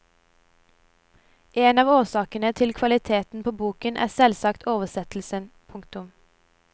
En av årsakene til kvaliteten på boken er selvsagt oversettelsen. punktum